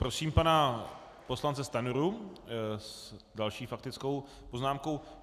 Prosím pana poslance Stanjuru s další faktickou poznámkou.